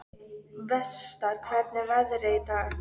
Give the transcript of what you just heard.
Vestar, hvernig er veðrið í dag?